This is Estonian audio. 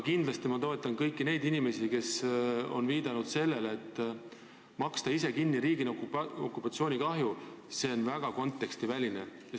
Samas ma toetan kõiki neid inimesi, kes on viidanud sellele, et hüvitada ise teise riigi tekitatud okupatsioonikahju on väga kontekstiväline.